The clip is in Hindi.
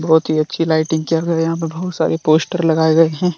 बहुत ही अच्छी लाइटिंग कर रहे हैं यहां पे बहुत सारे पोस्टर लगाए गए हैं।